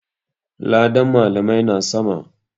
Ladan malamai na sama.